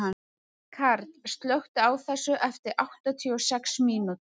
Karl, slökktu á þessu eftir áttatíu og sex mínútur.